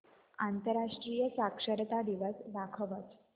आंतरराष्ट्रीय साक्षरता दिवस दाखवच